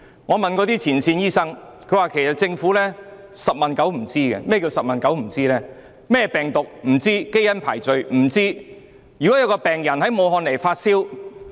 我曾向前線醫生查詢，他們說政府"十問九不知"，病毒種類、基因排序一概不知。